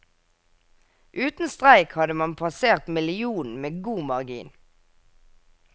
Uten streik hadde man passert millionen med god margin.